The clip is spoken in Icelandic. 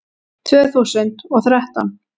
Tvö þúsund og þrettán